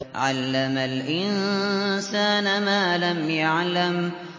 عَلَّمَ الْإِنسَانَ مَا لَمْ يَعْلَمْ